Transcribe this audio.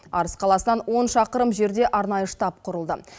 арыс қаласынан он шақырым жерде арнайы штаб құрылды